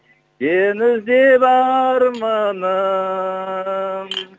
сені іздеп арманым